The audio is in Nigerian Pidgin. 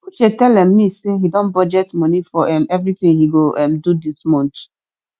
uche tell um me say he don budget money for um everything he go um do dis month